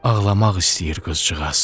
Ağlamaq istəyir qızcığaz.